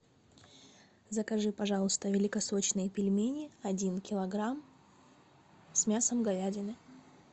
закажи пожалуйста великосочные пельмени один килограмм с мясом говядины